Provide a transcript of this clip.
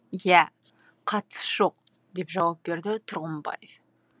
иә қатысы жоқ деп жауап берді тұрғымбаев